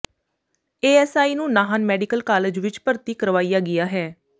ASI ਨੂੰ Nahan medical college ਵਿਚ ਭਰਤੀ ਕਰਵਾਇਆ ਗਿਆ ਹੈ